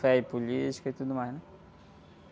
e política e tudo mais, né?